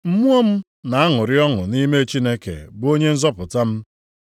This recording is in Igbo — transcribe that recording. mmụọ m na-aṅụrị ọṅụ nʼime Chineke bụ Onye nzọpụta m,